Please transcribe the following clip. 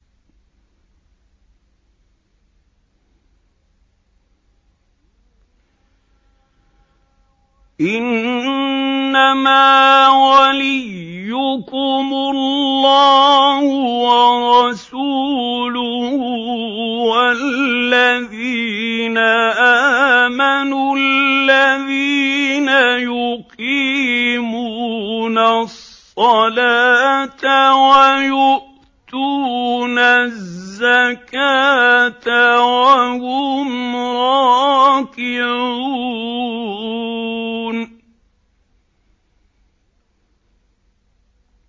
إِنَّمَا وَلِيُّكُمُ اللَّهُ وَرَسُولُهُ وَالَّذِينَ آمَنُوا الَّذِينَ يُقِيمُونَ الصَّلَاةَ وَيُؤْتُونَ الزَّكَاةَ وَهُمْ رَاكِعُونَ